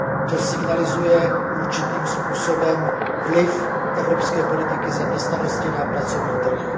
To signalizuje určitým způsobem vliv evropské politiky zaměstnanosti na pracovní trh.